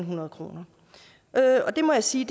hundrede kroner og det må jeg sige